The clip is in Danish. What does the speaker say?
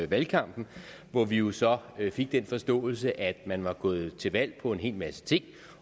valgkampen hvor vi jo så fik den forståelse at man var gået til valg på en hel masse ting